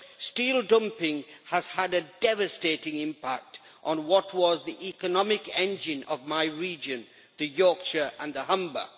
Steel dumping has had a devastating impact on what was the economic engine of my region, Yorkshire and the Humber.